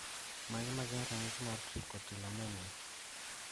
Mage magin ranyisi mag Trichotillomania